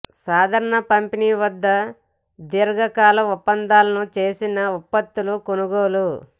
సాధారణ పంపిణీ వద్ద దీర్ఘకాల ఒప్పందాలను చేసిన ఉత్పత్తులు కొనుగోలు